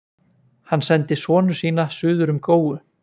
Hann sendi sonu sína suður um góu.